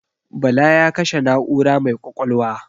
Bala ya kashe na'ura mai ƙwaƙwalwa.